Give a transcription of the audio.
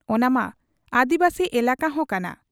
ᱚᱱᱟᱢᱟ ᱟᱹᱫᱤᱵᱟᱹᱥᱤ ᱮᱞᱟᱠᱟ ᱦᱚᱸ ᱠᱟᱱᱟ ᱾